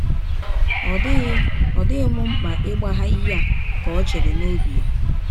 Ọ dịghị Ọ dịghị m mkpa ịgbagha ihe a, ’ ka ọ chere n’ọbi ya.